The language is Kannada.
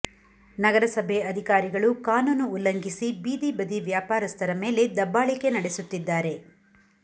ನಗರಸಭೆ ಅಧಿಕಾರಿಗಳು ಕಾನೂನು ಉಲ್ಲಂಘಿಸಿ ಬೀದಿಬದಿ ವ್ಯಾಪಾರಸ್ಥರ ಮೇಲೆ ದಬ್ಬಾಳಿಕೆ ನಡೆಸುತ್ತಿದ್ದಾರೆ